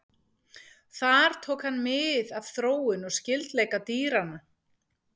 Þar tók hann mið af þróun og skyldleika dýranna.